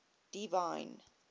divine